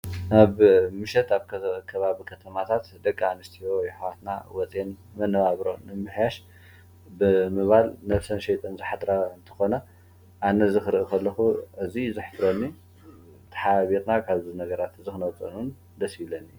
ኣብ ምሸት ከባቢ ከተማታት ደቂ ኣንስትዩ ኣሕዋትና ወፂአን መነባብሮን ንምምሕያሽ ብምባል ነብሰን ሸይጠን ዝምሓደራ እንትኮና ኣነ እዚ ክርኢ ከለኩ ኣዘዩ የሕፍረኒ ተሓባቢረና ካበዚ ነገረ ከነዉፀን ደስ ይበለኒ፡፡